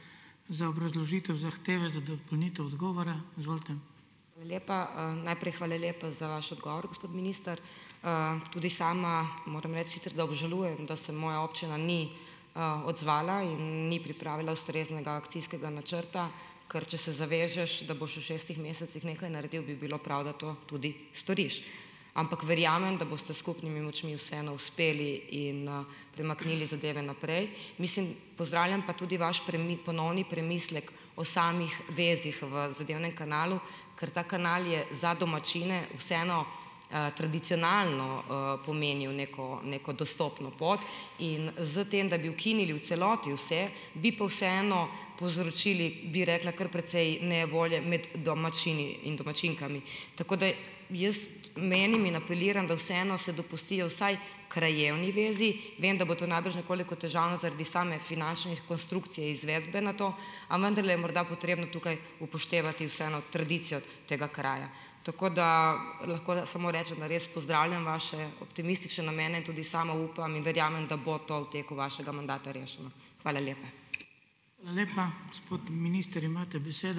Hvala lepa. Najprej hvala lepa za vaš odgovor, gospod minister. Tudi sama moram reči sicer, da obžalujem, da se moja občina ni, odzvala in ni pripravila ustreznega akcijskega načrta, ker če se zavežeš, da boš v šestih mesecih nekaj naredil, bi bilo prav, da to tudi storiš. Ampak verjamem, da boste s skupnimi močmi vseeno uspeli in, premaknili zadeve naprej. Mislim, pozdravljam pa tudi vaš ponovni premislek o samih vezjih v zadevnem kanalu, ker ta kanal je za domačine vseeno, tradicionalno, pomenil neko, neko dostopno pot in s tem, da bi ukinili v celoti vse, bi pa vseeno povzročili, bi rekla, kar precej nejevolje med domačini in domačinkami. Tako da jaz menim in apeliram, da vseeno se dopustijo vsaj krajevni vezi, vem, da bo to najbrž nekoliko težavno zaradi same finančne konstrukcije izvedbe na to, a vendarle je morda potrebno tukaj upoštevati vseeno tradicijo tega kraja. Tako da lahko samo rečem, da res pozdravljam vaše optimistične namene in tudi sama upam in verjamem, da bo to v teku vašega mandata rešeno. Hvala lepa.